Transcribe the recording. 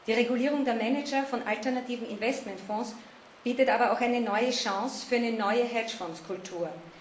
Die Regulierung der Manager von alternativen Investmentfonds bietet aber auch eine neue Chance für eine neue Hedgefonds Kultur.